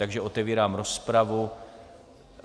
Takže otevírám rozpravu.